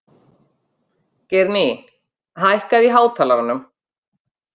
Geirný, hækkaðu í hátalaranum.